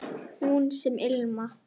Hús sem ilma